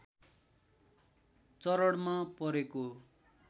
चरणमा परे